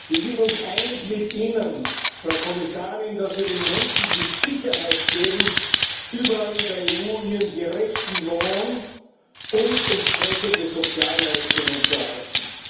Wir sind uns einig mit Ihnen, Frau Kommissarin, dass wir den Menschen die Sicherheit geben, überall in der EU ihren gerechten Lohn und entsprechende Sozialleistungen zu erhalten.